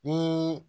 Ni